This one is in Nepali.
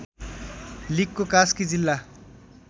लिगको कास्की जिल्ला